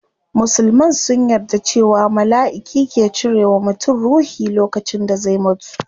Musulman sun yarda cewa malaiki ke cire wa mutum ruhi lokacin da zai mutu